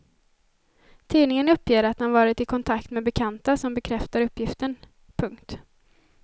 Tidningen uppger att den varit i kontakt med bekanta som bekräftar uppgiften. punkt